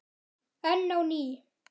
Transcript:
Enn á ný